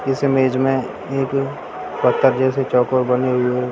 इस इमेज में एक पत्थर जेसी चौकोर बनी हुई है।